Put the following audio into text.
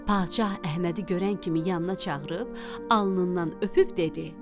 Padşah Əhmədi görən kimi yanına çağırıb alnından öpüb dedi: